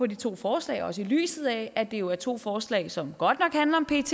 de to forslag og også i lyset af at det jo er to forslag som godt nok handler om pet